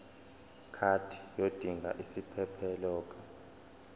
card yodinga isiphephelok